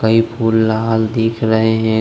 ये फूल लाल दिख रहे है।